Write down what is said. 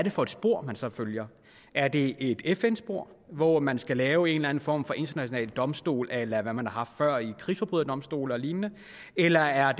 er for et spor man så følger er det et fn spor hvor man skal lave en eller anden form for international domstol a la hvad man har haft før i form krigsforbryderdomstole og lignende eller er